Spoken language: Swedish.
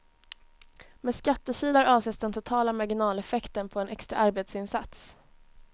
Med skattekilar avses den totala marginaleffekten på en extra arbetsinsats.